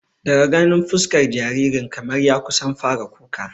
Daga ganin fuskar jaririn kamar ya kusan fara kuka